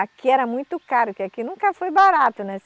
Aqui era muito caro, porque aqui nunca foi barato, né?